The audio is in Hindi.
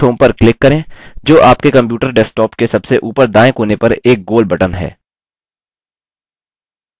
पहलेdash home पर क्लिक करें जो आपके कंप्यूटर डेस्कटॉप के सबसे ऊपर दायें कोने पर एक गोल बटन है